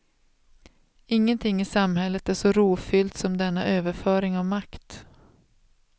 Ingenting i samhället är så rofyllt som denna överföring av makt.